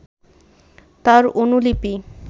তার অনুলিপি